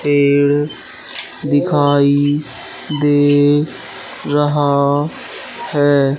तेल दिखाई दे रहा है।